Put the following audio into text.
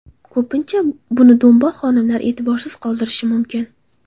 Ko‘pincha buni do‘mboq xonimlar e’tiborsiz qoldirishi mumkin.